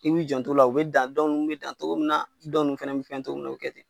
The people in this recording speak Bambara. I b'i jan t'o la o be dan dɔ nunnu be dan togo min na dɔ nunnu fɛnɛ bi fɛn togo min na o bi kɛ ten